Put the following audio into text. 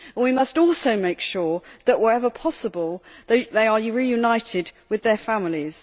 We must also make sure that, wherever possible, they are reunited with their families.